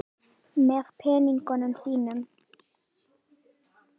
Nú héldu þeir enn lengra í vesturátt í leit að nýjum löndum.